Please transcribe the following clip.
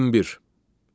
21.